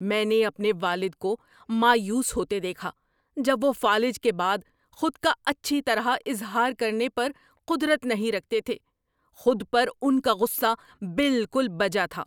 میں نے اپنے والد کو مایوس ہوتے دیکھا جب وہ فالج کے بعد خود کا اچھی طرح اظہار کرنے پر قدرت نہیں رکھتے تھے۔ خود پر ان کا غصہ بالکل بجا تھا۔